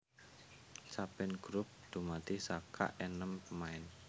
Saben grup dumadi saka enem pemain